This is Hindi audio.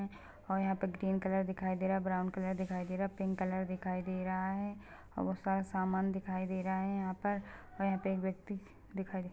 और यहाँ पर ग्रीन कलर दिखाई दे रहा है ब्राउन कलर दिखाई दे रहा है पिंक कलर दिखाई दे रहा है और बहुत सारा सामान दिखाई दे रहा है यहाँ पर और यहाँ पे एक व्यक्ति दिखाई दे--